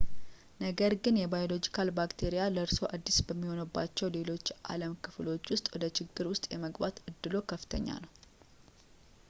ነገር ግን የባዮሎጂካል ባክቴሪያ ለእርስዎ አዲስ በሚሆኑባቸው ሌሎች የዓለም ክፍሎች ውስጥ ወደ ችግሮች ውስጥ የመግባት እድሎ ከፍተኛ ነው